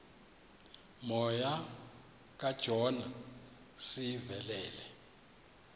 moya kajona sivelele